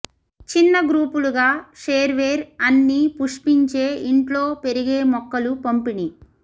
చిన్న గ్రూపులుగా షేర్వేర్ అన్ని పుష్పించే ఇంట్లో పెరిగే మొక్కలు పంపిణీ